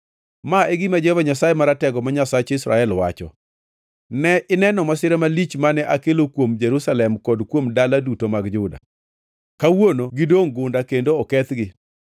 “Ma e gima Jehova Nyasaye Maratego, ma Nyasach Israel, wacho: Ne ineno masira malich mane akelo kuom Jerusalem kod kuom dala duto mag Juda. Kawuono gidongʼ gunda kendo okethgi,